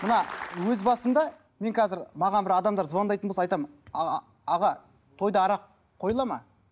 мына өз басымда мен қазір маған бір адамдар звондайтын болса айтамын аға тойда арақ қойылады ма